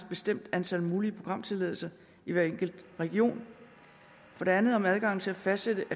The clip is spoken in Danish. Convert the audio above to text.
bestemt antal mulige programtilladelser i hver enkelt region og for det andet om adgangen til at fastsætte